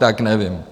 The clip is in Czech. Tak nevím.